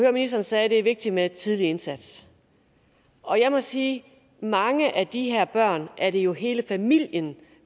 at ministeren sagde det er vigtigt med en tidlig indsats og jeg må sige at for mange af de her børn er det jo hele familien